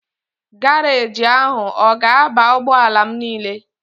Garaaji ahụ ọ ga-aba ụgbọala m niile?